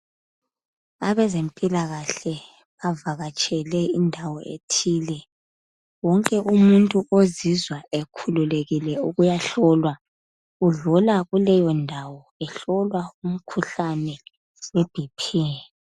Abezempilakahle bavakatshele indawo ethile wonke umuntu ozizwa ekhululekile ukuyahlolwa, udlula kuleyo ndawo ehlolwa umkhuhlane we"Bp".